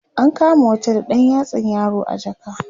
an kama wata da ɗan yatsan yaro a jaka